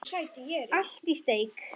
Allt í steik.